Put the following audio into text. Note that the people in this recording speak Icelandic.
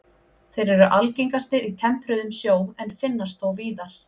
Þeir eru algengastir í tempruðum sjó en finnast þó víðar.